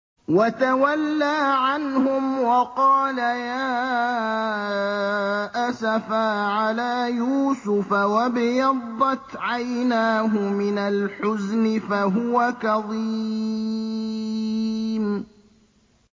وَتَوَلَّىٰ عَنْهُمْ وَقَالَ يَا أَسَفَىٰ عَلَىٰ يُوسُفَ وَابْيَضَّتْ عَيْنَاهُ مِنَ الْحُزْنِ فَهُوَ كَظِيمٌ